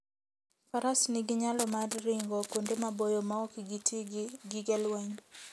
Faras nigi nyalo mar ringo kuonde maboyo maok giti gi gige lweny.